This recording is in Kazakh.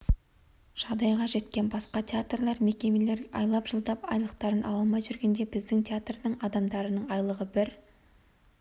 жағдайға жеткем басқа театрлар мекемелер айлап-жылдап айлықтарын ала алмай жүргенде біздің театрдың адамдарының айлығы бір